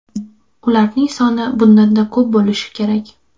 Ularning soni bundan-da ko‘p bo‘lishi kerak.